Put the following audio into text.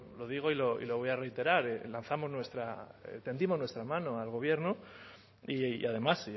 lo digo y lo voy a reiterar lanzamos nuestra tendimos nuestra mano al gobierno y además